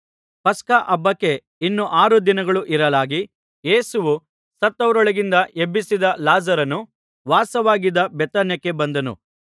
ಪಸ್ಕ ಹಬ್ಬಕ್ಕೆ ಇನ್ನು ಆರು ದಿನಗಳು ಇರಲಾಗಿ ಯೇಸುವು ಸತ್ತವರೊಳಗಿಂದ ಎಬ್ಬಿಸಿದ ಲಾಜರನು ವಾಸವಾಗಿದ್ದ ಬೇಥಾನ್ಯಕ್ಕೆ ಬಂದನು